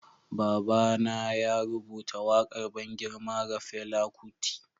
Baba na ya rubuta wakar ban girma ga Fela Kuti.